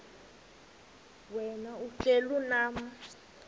wena uhlel unam